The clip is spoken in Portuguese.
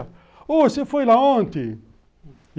Ô, você foi lá ontem.